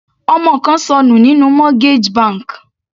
Ọmọ kan ṣọnù nínú mortgage bank.